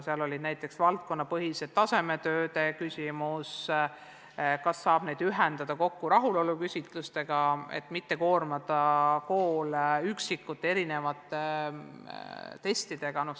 Seal oli näiteks küsimus valdkonnapõhiste tasemetööde kohta, et kas neid saab ühendada rahuloluküsitlustega, et mitte koormata koole mitme üksiku testiga.